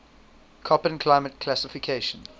koppen climate classification